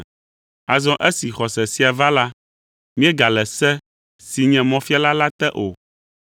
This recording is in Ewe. Azɔ esi xɔse sia va la, míegale se, si nye mɔfiala la te o.